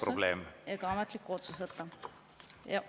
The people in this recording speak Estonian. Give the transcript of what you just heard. … ilma õigusliku aluse ja ametliku otsuseta?